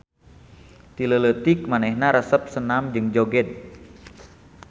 Ti leuleutik manehna resep senam jeung joged.